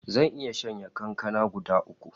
Zan iya shanye kankana guda uku